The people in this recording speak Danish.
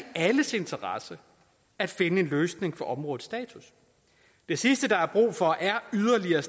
alles interesse at finde en løsning for områdets status det sidste der er brug for er yderligere